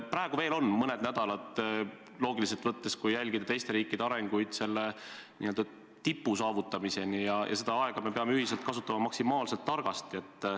Praegu on meil veel mõned nädalad – loogiliselt võttes, kui jälgida teiste riikide arenguid – n-ö tipu saavutamiseni ja seda aega me peame ühiselt kasutama maksimaalselt targasti.